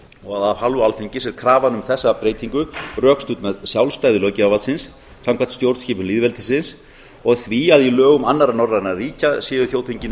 og af hálfu alþingis er krafan um þessa breytingu rökstudd með sjálfstæði löggjafarvaldsins samkvæmt stjórnskipun lýðveldisins og því að í lögum annarra norrænna ríkja séu þjóðþingin